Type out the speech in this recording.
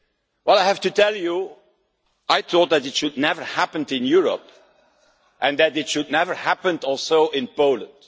Well, I have to tell you, I thought that it should never happen in Europe, and that it should never happen also in Poland